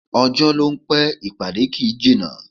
Ọjọ́ ló ń pẹ́, ìpàdé kì í jìnnà